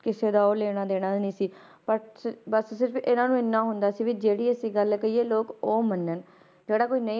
ਕਿਸੇ ਦਾ ਉਹ ਲੈਣਾ ਦੇਣਾ ਹੈ ਨੀ ਸੀ, ਬਸ ਬਸ ਸਿਰਫ਼ ਇਹਨਾਂ ਨੂੰ ਇੰਨਾ ਹੁੰਦਾ ਸੀ ਵੀ ਜਿਹੜੀ ਅਸੀਂ ਗੱਲ ਕਹੀਏ ਲੋਕ ਉਹ ਮੰਨਣ ਜਿਹੜਾ ਕੋਈ ਨਹੀਂ,